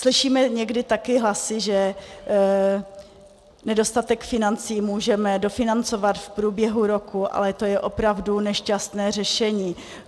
Slyšíme někdy také hlasy, že nedostatek financí můžeme dofinancovat v průběhu roku, ale to je opravdu nešťastné řešení.